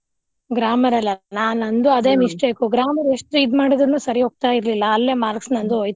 grammar ಅಲ್ಲಿ ಅಲ್ಲಾ ನಂದು ಅದೆ mistake grammar ಎಷ್ಟು ಇದ್ ಮಾಡಿದ್ರನು ಸರಿ ಹೋಗ್ತಾ ಇರ್ಲಿಲ್ಲಾ ಅಲ್ಲೆ marks ನಂದು ಹೋಯ್ತು.